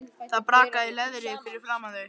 Það brakaði í leðri fyrir framan þau.